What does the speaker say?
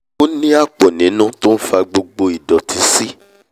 ó ní àpọ̀ nínú tó nfa gbogbo nfa gbogbo ìdọ̀tí sí